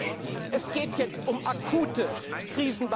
sagen. Ich weiß, es geht jetzt um akute Krisenbewältigung.